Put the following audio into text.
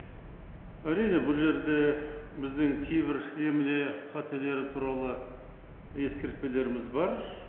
әрине бұл жерде біздің кейбір емле қателері туралы ескертпелеріміз бар